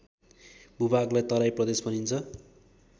भूभागलाई तराई प्रदेश भनिन्छ